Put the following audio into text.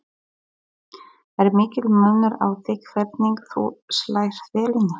Er mikill munur á því hvernig þú slærð vellina?